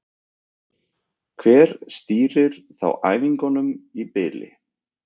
Mun ég spila í ensku úrvalsdeildinni einn daginn?